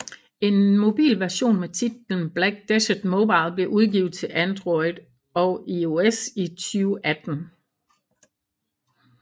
En mobil version med titlen Black Desert Mobile blev udgivet til Android og iOS i 2018